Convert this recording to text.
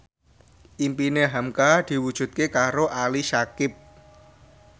impine hamka diwujudke karo Ali Syakieb